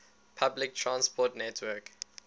public transport network